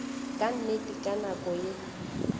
ka nnete ka nako ye